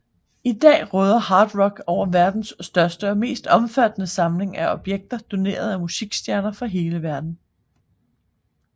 I dag råder Hard Rock over verdens største og mest omfattende samling af objekter doneret af musikstjerner fra hele verden